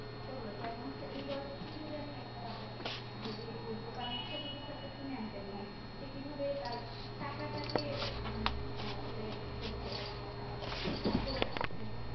সেগুলো যেমন হচ্ছে এই বয়স থেকে যদি আমরা একটা বাচ্চাকে যদি দোকানে ছোট কিছু একটা কিনে আন্তে বলি সেই কিভাবে তার টাকা তাকে আসলে এই করছে আর ঠিক ঠাক করে রাখছে